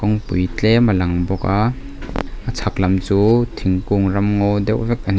pui tlem alang bawk a a chhak lam chu thingkung ramngaw deuh vek a ni.